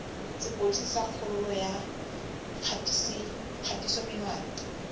sepodisi sa kgololo ya kgatisomenwa